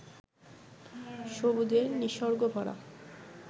সবুজের নিসর্গ ভরা